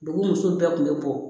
Dugu muso bɛɛ tun bɛ bɔ